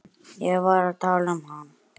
Ég var að tala um hann.